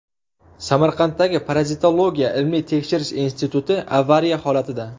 Samarqanddagi Parazitologiya ilmiy-tekshirish instituti avariya holatida.